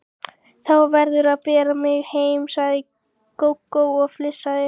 Þú verður að bera mig heim, sagði Gógó og flissaði.